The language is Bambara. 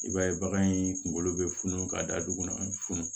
I b'a ye bagan in kunkolo bɛ funu ka da dugu funu